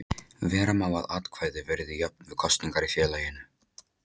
Vera má að atkvæði verði jöfn við kosningar í félaginu.